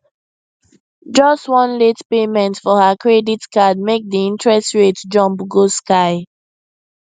just one late payment for her credit card make the interest rate jump go sky